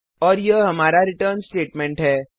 और यह हमारा रिटर्न स्टेटमेंट है